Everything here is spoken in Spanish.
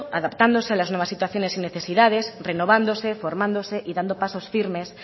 adaptándose a las nuevas situaciones y necesidades renovándose formándose y dando pasos firmes